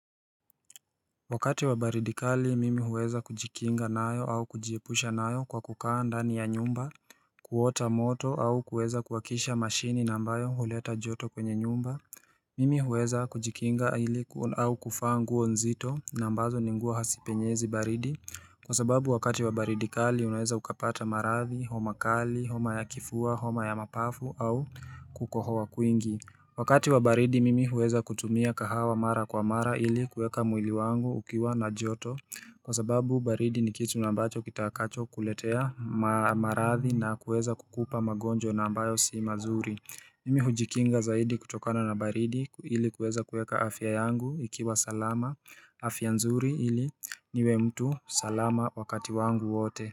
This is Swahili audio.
Wakati wa baridi kali mimi huweza kujikinga nayo au kujiepusha nayo kwa kukaa ndani ya nyumba kuota moto au kuweza kuwakisha mashini na ambayo huleta joto kwenye nyumba Mimi huweza kujikinga ili au kuvaa nguo nzito na ambazo ni nguo hazipenyezi baridi kwa sababu wakati wa baridi kali unaweza ukapata maradhi, homa kali, homa ya kifua, homa ya mapafu au kukohoa kwingi Wakati wa baridi mimi huweza kutumia kahawa mara kwa mara ili kueka mwili wangu ukiwa na joto Kwa sababu baridi ni kitu na ambacho kitakacho kuletea maradhi na kueza kukupa magonjwa na ambayo si mazuri Mimi hujikinga zaidi kutokana na baridi ili kueza kueka afya yangu ikiwa salama afya nzuri ili niwe mtu salama wakati wangu wote.